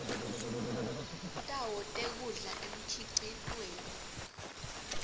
tawo tekudla emkhicitweni